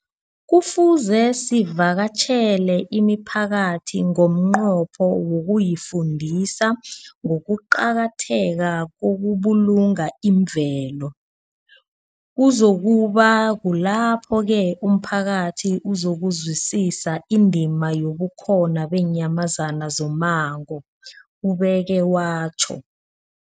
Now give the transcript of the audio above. Kufuze sivakatjhele imiphakathi ngomnqopho wokuyifundisa ngokuqakatheka kokubulunga imvelo. Kuzoku ba kulapho-ke umphakathi uzokuzwisisa indima yobukhona beenyamazana zommango, ubeke watjho.